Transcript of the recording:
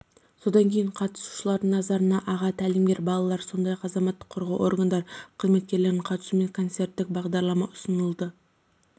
содан кейін қатысушылардың назарына аға тәлімгерлер балалар сондай-ақ азаматтық қорғау органдары қызметкерлерінің қатысуымен концерттік бағдарлама ұсынылды